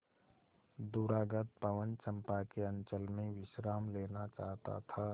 दूरागत पवन चंपा के अंचल में विश्राम लेना चाहता था